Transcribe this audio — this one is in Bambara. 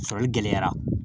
Sɔrɔli gɛlɛyara